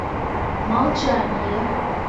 молчание